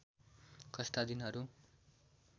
कस्ता दिनहरु